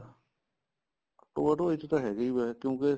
ਢੋਆ ਢੋਆਈ ਚ ਹੈਗਾ ਈ ਵੈਸੇ ਕਿਉਂਕਿ